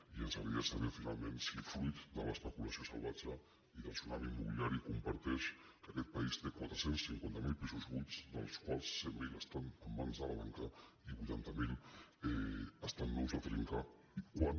i ens agradaria saber finalment si fruit de l’especula·ció salvatge i del tsunami immobiliari comparteix que aquest país té quatre cents i cinquanta miler pisos buits dels quals cent miler estan en mans de la banca i vuitanta miler estan nous de trinca i quan